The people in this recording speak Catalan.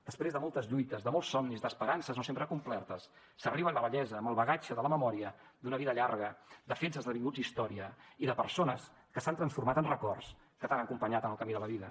després de moltes lluites de molts somnis d’esperances no sempre complertes s’arriba a la vellesa amb el bagatge de la memòria d’una vida llarga de fets esdevinguts història i de persones que s’han transformat en records que t’han acompanyat en el camí de la vida